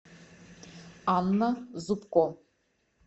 анна зубко